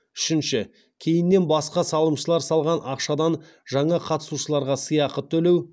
үшінші кейіннен басқа салымшылар салған ақшадан жаңа қатысушыларға сыйақы төлеу